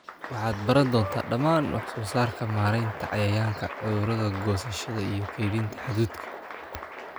Waxaad baran doontaa dhammaan wax soo saarka, maaraynta cayayaanka/cudurada, goosashada iyo kaydinta hadhuudhka."